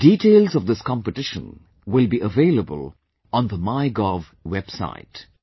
The details of this competition will be available on the Mygov website